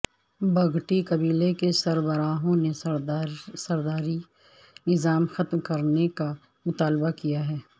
بگٹی قبیلے کے سربراہوں نے سرداری نظام ختم کرنے کا مطالبہ کیا ہے